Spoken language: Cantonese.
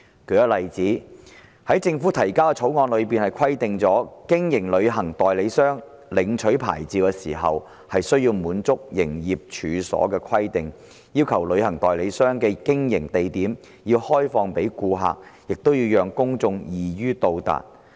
舉例而言，《條例草案》規定，為經營旅行代理商業務而領取牌照時，申請人須滿足有關營業處所的規定，旅行代理商的經營地點要向公眾開放，亦要讓公眾易於到達。